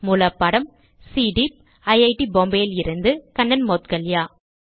மூல பாடம் CDEEP IIT Bombay இலிருந்து கண்ணன் மௌட்கல்யா